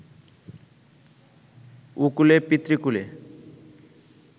ওকুলে পিতৃকুলে